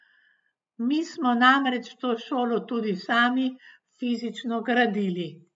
Mi smo namreč to šolo tudi sami fizično gradili!